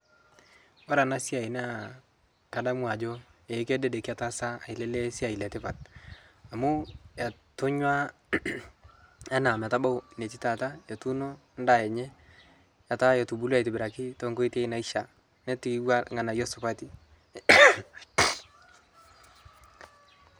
kore anaa siai naa kadamu ajo ee kedede ketaasa alee lee siai letipat amu etonyua anaa metabau netii taata etuuno ndaa enyee etaa etubulua aitibirakii tonkoitei naishia netiiwa lghanayo supatii